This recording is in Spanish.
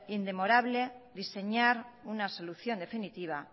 indemorable diseñar una solución definitiva